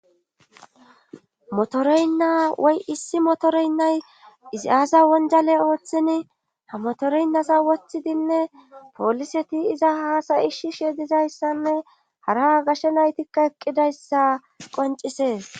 Motoreynna woy issi motoreynnay izi aasa wonjaley ooththin ha motoreynnasa wothidinne poliseti iza haasayishish yedizayssanne hara gashe naytikka eqqidayssa qoncisees